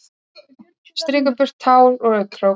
Strýkur burtu tár úr augnakrók.